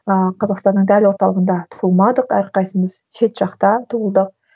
ыыы қазақстанның дәл орталығында туылмадық әрқайсымыз шет жақта туылдық